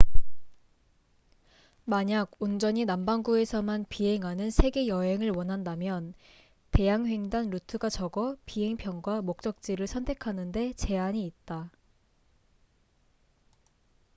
만약 온전히 남반구에서만 비행하는 세계 여행을 원한다면 대양횡단 루트가 적어 비행 편과 목적지를 선택하는데 제한이 있다